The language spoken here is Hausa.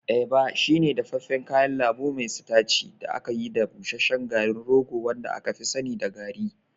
Eba shine dafaffen kayan lambu mai sitaci da aka yi da busasshen garin rogo wanda aka fi sani da garri.